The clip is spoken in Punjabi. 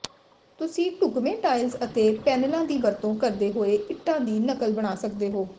ਤੁਸੀਂ ਢੁਕਵੇਂ ਟਾਇਲਸ ਅਤੇ ਪੈਨਲਾਂ ਦੀ ਵਰਤੋਂ ਕਰਦੇ ਹੋਏ ਇੱਟਾਂ ਦੀ ਨਕਲ ਬਣਾ ਸਕਦੇ ਹੋ